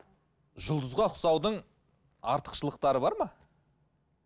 жұлдызға ұқсаудың артықшылықтары бар ма